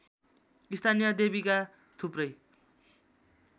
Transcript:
स्थानीय देवीका थुप्रै